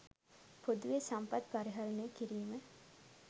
පොදුවේ සම්පත් පරිහණය කිරීම